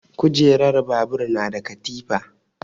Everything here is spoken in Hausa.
Kujerar babur na da katifa.